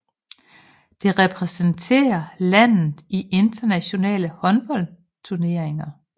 Det repræsenterer landet i internationale håndboldturneringer